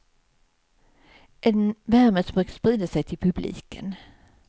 En värme som brukar sprida sig till publiken.